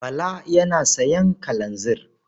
Bala yana sayan kalanzir.